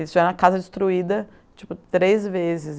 Eles tiveram a casa destruída, tipo, três vezes.